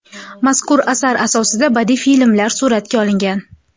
Mazkur asar asosida badiiy filmlar suratga olingan.